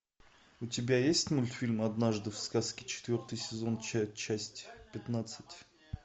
у тебя есть мультфильм однажды в сказке четвертый сезон часть пятнадцать